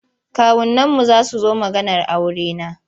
Kawunanmu za su zo maganar aurena.